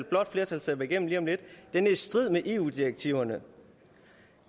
blå flertal stemmer igennem lige om lidt er i strid med eu direktiverne